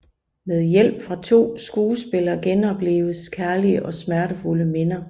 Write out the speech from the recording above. Med hjælp fra to skuespillere genoplives kærlige og smertefulde minder